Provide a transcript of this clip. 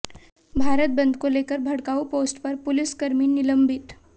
भारत बंद को लेकर भड़काऊ पोस्ट पर पुलिसकर्मी निलंबित